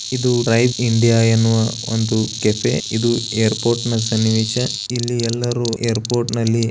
ಇದು Rain India ಎನ್ನುವ ಒಂದು ಕೆಫೆ ಇದು ಏರ್ಪೋರ್ಟ್ ನ ಸನ್ನಿವೇಶ ಇಲ್ಲಿ ಎಲ್ಲಾರು ಏರ್ಪೋರ್ಟ್ ನಲ್ಲಿ --